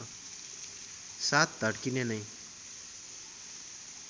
साथ धड्किने नै